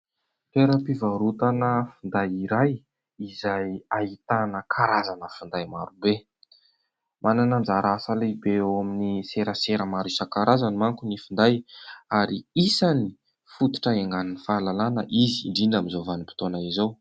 Toeram-pivarotana finday iray izay ahitana karazana finday marobe. Manana anjara asa lehibe eo amin'ny serasera maro isankarazany manko ny finday ary isan'ny fototra iangan'ny fahalalana izy, indrindra amin'izao vanim-potoana izao.